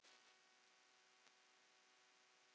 Til dæmis þá er